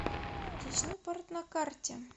речной порт на карте